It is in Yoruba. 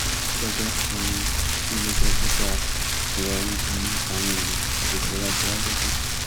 gẹgẹ um bíi iléeṣẹ tó dáa ìrọrùn um àwọn èèyàn àgbègbè wa jẹ wá lógún